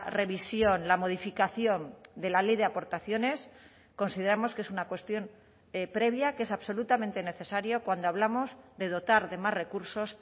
revisión la modificación de la ley de aportaciones consideramos que es una cuestión previa que es absolutamente necesario cuando hablamos de dotar de más recursos